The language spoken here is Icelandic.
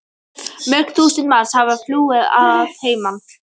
Mörg þúsund manns hafa flúið að heiman.